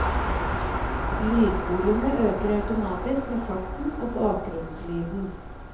Lydvolumet øker automatisk med farten og bakgrunnslyden.